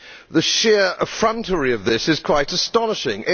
The sheer effrontery of this is quite astonishing.